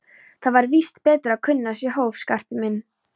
Það er víst betra að kunna sér hóf, Skarpi minn.